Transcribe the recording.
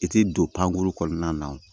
I tɛ don pankuru kɔnɔna na wo